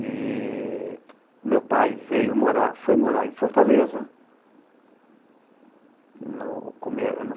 E meu pai veio morar, foi morar em Fortaleza no